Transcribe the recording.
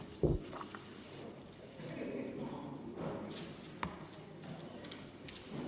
Istungi lõpp kell 16.08.